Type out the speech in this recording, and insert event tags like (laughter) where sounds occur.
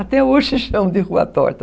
Até hoje chamam de Rua Torta. (laughs)